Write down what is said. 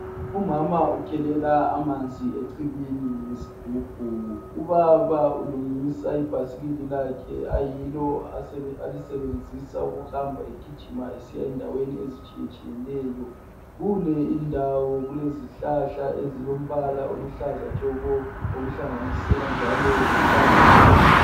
Umama ukhelela amanzi ecibini ngesigubhu. Ubaba ulungisa ibhasikili lakhe ayilo alisebenzisa ukuhamba egijima esiya endaweni ezitshiyetshiyeneyo. Kule indawo kule zihlahla ezilombala oluhlaza tshoko okuhlanganisela njalo lotshani.